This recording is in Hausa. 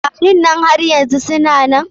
Kwarin nan har yanzu suna nan?